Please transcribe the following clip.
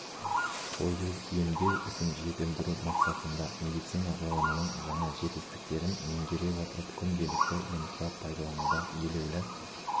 қою емдеу ісін жетілдіру мақсатында медицина ғылымының жаңа жетістіктерін меңгере отырып күнделікті жұмыста пайдалануда елеулі